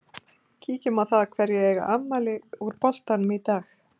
Kíkjum á það hverjir eiga afmæli úr boltanum í dag.